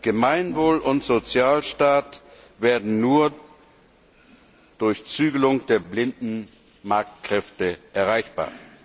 Gemeinwohl und Sozialstaat werden nur durch Zügelung der blinden Marktkräfte erreichbar.